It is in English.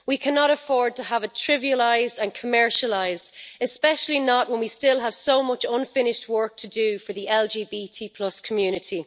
We cannot afford to have it trivialised and commercialised, especially not when we still have so much unfinished work to do for the LGBT community.